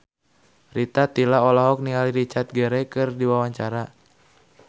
Rita Tila olohok ningali Richard Gere keur diwawancara